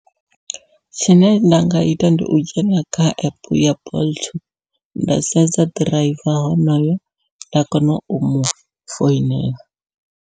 Tshine nda nga ita ndi u dzhena kha epe ya bolt nda sedza driver honoyo nda kona u mufoinela.